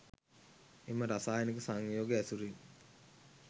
එම රසායනික සංයෝග ඇසුරින්